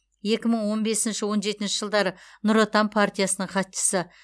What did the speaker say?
екі мың он бесінші он жетінші жылдары нұр отан партиясының хатшысы